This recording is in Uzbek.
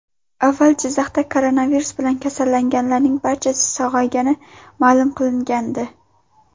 Avval Jizzaxda koronavirus bilan kasallanganlarning barchasi sog‘aygani ma’lum qilingandi .